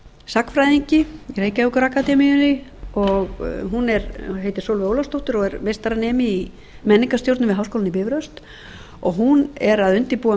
sagnfræðingi í reykjavíkurakademíunni hún heitir sólveig ólafsdóttir og er meistaranemi í menningarstjórnun við háskólann í bifröst hún er að undirbúa